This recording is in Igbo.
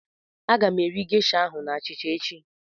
Aga m eri gesha ahụ na achịcha echi.